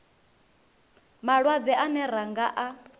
malwadze ane ra nga a